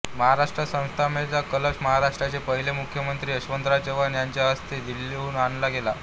महाराष्ट्र स्थापनेचा कलश महाराष्ट्राचे पहिले मुख्यमंत्री यशवंतराव चव्हाण यांचे हस्ते दिल्लीहून आणला गेला